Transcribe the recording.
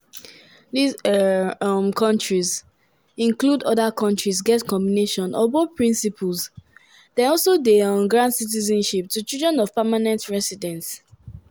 these um these um kontris include: oda kontris get combination of both principles dem also dey um grant citizenship to children of permanent residents.